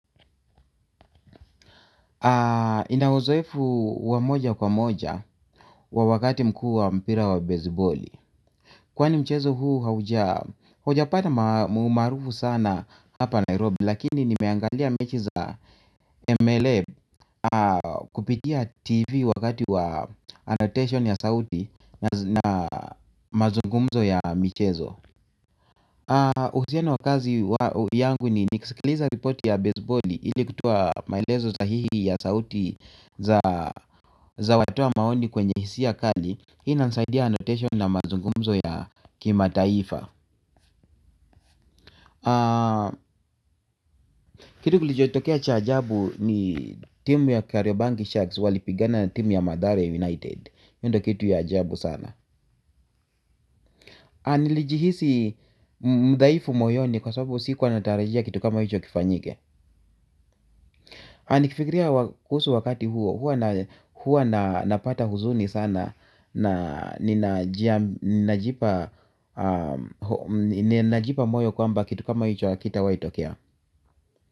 Ninauzoefu wa moja kwa moja wakati mkuu mpira wa baseballi. Kwani mchezo haujapata maarufu sana hapa Nairobi. Lakini nimeangalia mechi za MLM kupitia TV wakati wa annotation ya sauti na mazungumzo ya michezo. Uhusiano wa kazi yangu ni nikusikiliza ripoti ya baseballi ili kutoa maelezo sahihi ya sauti za watoa maoni kwenye hisia kali. Hii inanisaidia annotation na mazungumzo ya kimataifa. Kitu kulichotokea cha ajabu ni team ya Karyobanki Sharks walipigana na team ya Mathare United hio ndio kitu ya ajabu sana nilijihisi mdhaifu moyoni kwa sababu sikuwa natarajia kitu kama hicho kifanyike. Na nikifikiria kuhusu wakati huo, huwa napata huzuni sana na ninajipa moyo kwamba kitu kama hicho hakitawahi tokea.